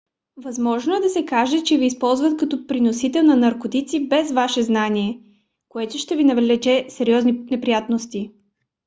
възможно е да се окаже че ви използват като преносител на наркотици без ваше знание което ще ви навлече сериозни неприятности